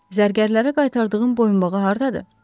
Zərgərlərə qaytardığım boyunbağı hardadır?